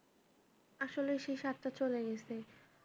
আসলে সেই স্বাদটা চলে গেছে